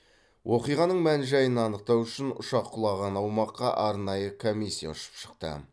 оқиғаның мән жайын анықтау үшін ұшақ құлаған аумаққа арнайы комиссия ұшып шықты